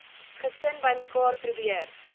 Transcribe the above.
gesin bymekaar probeer